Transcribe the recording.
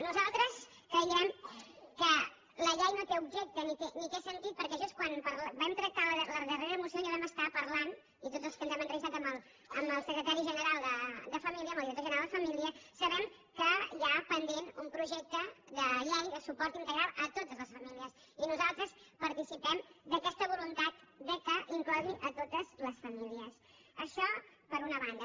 nosaltres creiem que la llei no té objecte ni té sentit perquè just quan vam tractar la darrera moció ja vam estar parlant i tots els que ens hem entrevistat amb el director general de família sabem que hi ha pendent un projecte de llei de suport integral a totes les famílies i nosaltres participem d’aquesta voluntat que inclogui a totes les famílies això per una banda